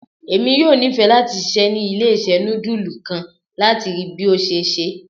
Emi yoo nifẹ lati ṣiṣẹ ni ile-iṣẹ nudulu kan, lati rii bi o ṣe ṣe